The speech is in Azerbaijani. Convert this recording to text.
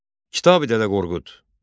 Kitabi-Dədə Qorqud.